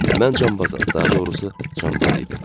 Mən canbazam, daha doğrusu canbaz idim.